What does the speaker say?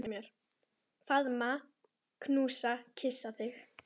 Faðma, knúsa, kyssi þig.